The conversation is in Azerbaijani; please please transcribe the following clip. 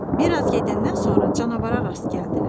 Bir az gedəndən sonra canavara rast gəldilər.